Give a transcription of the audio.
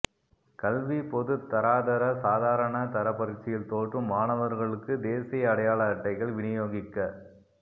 கல்வி பொதுத் தராதர சாதாரண தர பரீட்சையில் தோற்றும் மாணவர்களுக்கு தேசிய அடையாள அட்டைகள் விநியோகிக்கப்ப